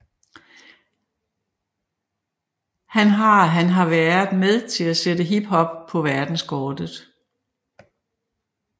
Han har han været med til at sætte Hip hop på verdenskortet